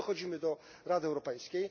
I tu dochodzimy do Rady Europejskiej.